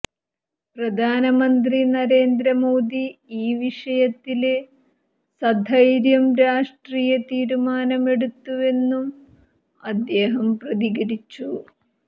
പ്രധാനമന്ത്രി നരേന്ദ്ര മോദി ഈ വിഷയത്തില് സധൈര്യം രാഷ്ട്രീയ തീരുമാനമെടുത്തുവെന്നും അദ്ദേഹം പ്രതികരിച്ചു